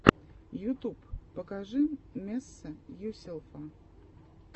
ютюб покажи месса юселфа